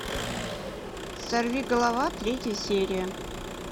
сорви голова третья серия